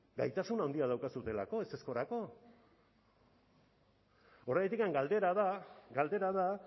gaitasun handia daukazuelako ezezkorako horregatik galdera da galdera da